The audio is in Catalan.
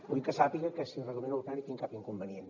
vull que sàpiga que si el reglament ho permet no hi tinc cap inconvenient